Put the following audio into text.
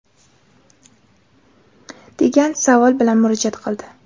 degan savol bilan murojaat qildi.